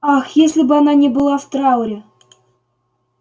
ах если бы она не была в трауре